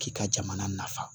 K'i ka jamana nafa